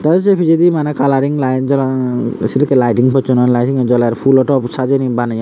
ei sei pijedi maneh kalaring laed jolodon ei sedekkey lighting possoney lai hebey sinni joler fhulo top sajeney baneyon.